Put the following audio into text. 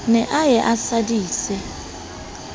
ne a ye a sadise